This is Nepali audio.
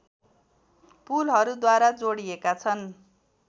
पुलहरूद्वारा जोडिएका छन्